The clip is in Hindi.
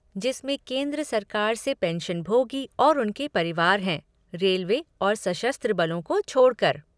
जिसमें केंद्र सरकार से पेंशनभोगी और उनके परिवार हैं, रेलवे और सशस्त्र बलों को छोड़कर ।